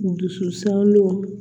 Dususanlo